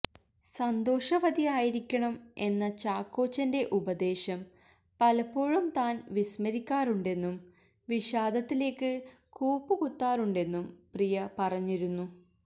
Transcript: സന്തോഷവതിയായിരിക്കണം എന്ന ചാക്കോച്ചന്റെ ഉപദേശം പലപ്പോഴും താന് വിസ്മരിക്കാറുണ്ടെന്നും വിഷാദത്തിലേക്ക് കൂപ്പുകുത്താറുണ്ടെന്നും പ്രിയ പറഞ്ഞിരുന്നു